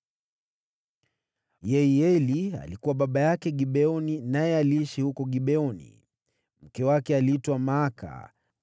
Yeieli alikuwa baba yake Gibeoni naye aliishi huko Gibeoni. Mke wake aliitwa Maaka,